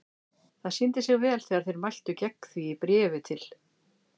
Það sýndi sig vel þegar þeir mæltu gegn því í bréfi til